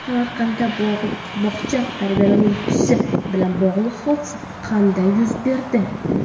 Samarqandda bog‘cha tarbiyalanuvchisi bilan bog‘liq hodisa qanday yuz berdi?